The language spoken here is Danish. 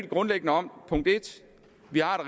grundlæggende om punkt en at vi har